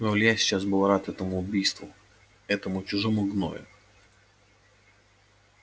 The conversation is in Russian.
но илья сейчас был рад этому убийству этому чужому гною